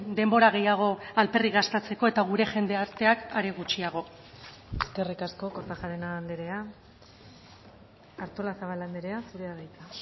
denbora gehiago alperrik gastatzeko eta gure jendarteak are gutxiago eskerrik asko kortajarena andrea artolazabal andrea zurea da hitza